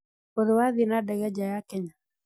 ũrĩ wathiĩ na ndege nja ya Kenya?